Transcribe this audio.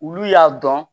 Olu y'a dɔn